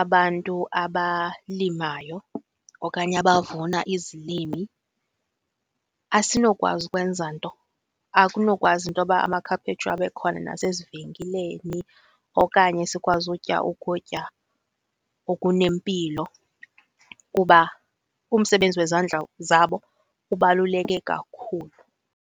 abantu abalimayo okanye abavuna izilimi, asinokwazi ukwenza nto, akunokwazi intoba amakhaphetshu abe khona nasezivenkileni okanye sikwazi utya ukutya okunempilo kuba umsebenzi wezandla zabo ubaluleke kakhulu.